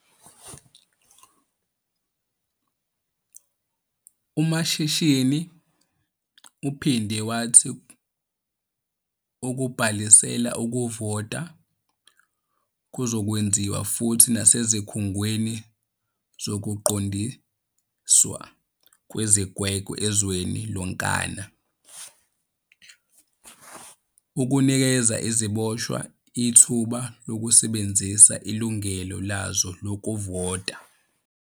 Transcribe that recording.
UMashinini uphinde wathi ukubhalisela ukuvota kuzokwenziwa futhi nasezikhungweni zokuqondiswa kwezigwegwe ezweni lonkana ukunikeza iziboshwa ithuba lokusebenzisa ilungelo lazo lokuvota.